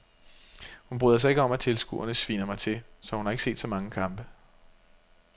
Hun bryder sig ikke om at tilskuerne sviner mig til, så hun har ikke set så mange kampe.